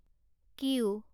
Q